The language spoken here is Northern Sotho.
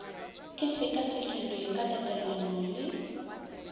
e sekasekilwe ka tatelano le